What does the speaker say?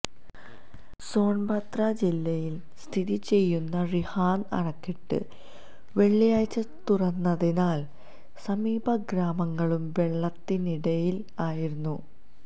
സോന്ബദ്ര ജില്ലയില് സ്ഥിതി ചെയുന്ന റിഹാന്ദ് അണക്കെട്ട് വെള്ളിയാഴ്ച തുറന്നതിനാല് സമീപ ഗ്രാമങ്ങളും വെള്ളത്തിനടിയിലായിരിക്കുന്നത്